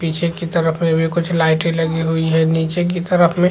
पीछे की तरफ में भी कुछ लाइटे लगी हुई है नीचे की तरफ में--